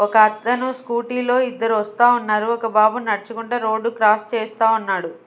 ఒక అతను స్కూటీ లో ఇద్దరు వస్తా ఉన్నారు ఒక బాబు నడుచుకుంటా రోడ్ క్రాస్ చేస్తా ఉన్నాడు.